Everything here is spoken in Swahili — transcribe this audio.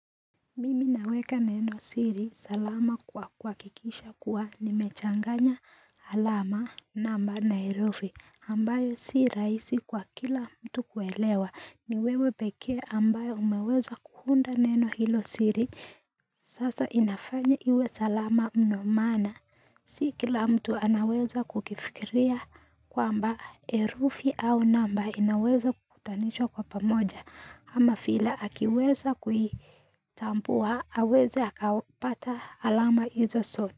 Mimi naweka neno siri salama kwa kuhakikisha kuwa nimechanganya alama namba na herufi ambayo si rahisi kwa kila mtu kuelewa ni wewe pekee ambayo umeweza kuunda neno hilo siri sasa inafanya iwe salama mno maana Si kila mtu anaweza kukifikiria kwamba herufi au namba inaweza kukutanishwa kwa pamoja ama fila akiweza kuitampuwa aweza aka pata alama hizo soto.